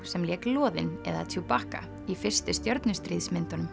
sem lék loðin eða Chewbacca í fyrstu